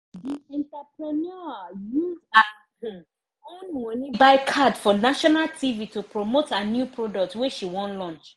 di entrepreneur use her um own money buy card for national tv to promote her new product wey she wan launch